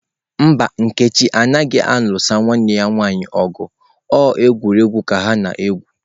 Mba, nkechi anaghi alu nwanne ya nwanyi ogu o egwu ka ha na-egwu.